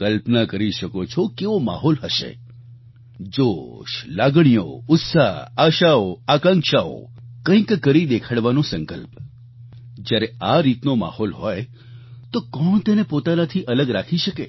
કલ્પના કરી શકો છો કેવો માહોલ હશે જોશ લાગણીઓ ઉત્સાહ આશાઓ આકાંક્ષાઓ કંઈક કરી દેખાડવાનો સંકલ્પ જ્યારે આ રીતનો માહોલ હોય તો કોણ તેને પોતાનાથી અલગ રાખી શકે